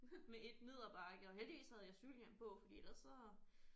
Med ét ned ad bakke og heldigvis havde jeg cykelhjelm på fordi ellers så